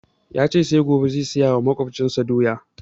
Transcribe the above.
Ya ce sai gobe sai saya wa maƙwabcin sa doyan